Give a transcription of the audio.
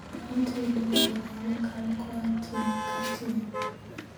Lony e tedo inyalo kal koa tieng' ka tieng'